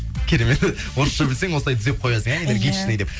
керемет орысша білсең осылай түзеп қоясың иә энергичный деп